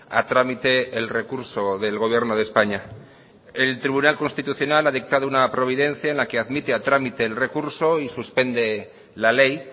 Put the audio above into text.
a trámite el recurso del gobierno de españa el tribunal constitucional ha dictado una providencia en la que admite a trámite el recurso y suspende la ley